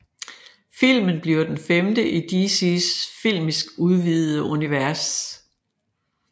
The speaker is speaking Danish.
Filmen bliver den femte i DCs filmisk udvidede univers